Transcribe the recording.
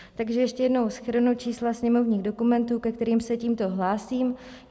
Takže ještě jednou shrnu čísla sněmovních dokumentů, ke kterým se tímto hlásím.